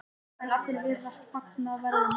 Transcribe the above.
En allir virðast fagna verðinu.